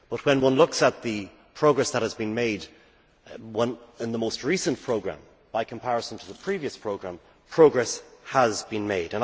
But when one looks at the progress that has been made in the most recent programme in comparison to the previous programme, progress has been made.